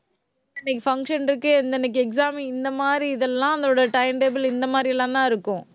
இன்னைக்கு function இருக்கு. எந்தெந்த exam இந்த மாதிரி இதெல்லாம், அதோட time table இந்த மாதிரி எல்லாம்தான் இருக்கும்.